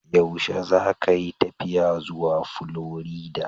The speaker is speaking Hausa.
Yaushe zakayi tafiya zuwa Florida?